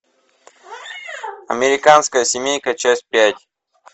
американская семейка часть пять